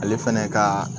Ale fɛnɛ kaaa